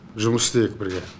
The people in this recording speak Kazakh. жұмыс істейік бірге